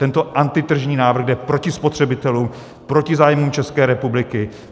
Tento antitržní návrh jde proti spotřebitelům, proti zájmům České republiky.